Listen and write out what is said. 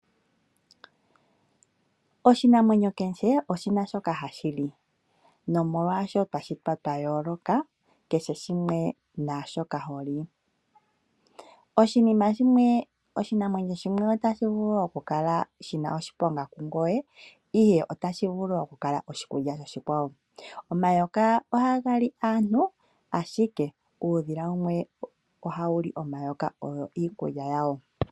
Oshinanwenyo kehe oshina shoka hashi li omolwashoka twashitwa twa yooloka kehe shimwe naashoka holi. Oshinanwenyo shimwe otashi vulu oku kala shina oshiponga kungoye ihe oshikulya koshikwawo. Omayoka ohaga li aantu ashike uudhila wumwe ohawu li omayoka owo iikulya yawo.